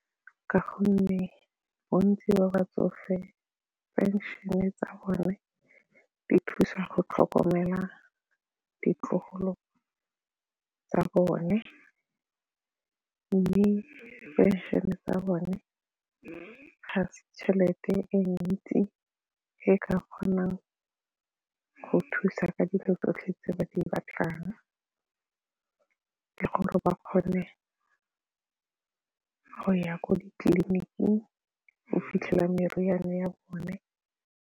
Ka gonne bontsi ba batsofe phenšene tsa bone di thusa go tlhokomela ditlogolo tsa bone mme phenšene tsa bone ga se tšhelete e ntsi e ka kgonang go thusa ka dilo tsotlhe tse ba di batlang le gore ba kgone go ya ko ditleliniking go fitlhela meriane ya bone.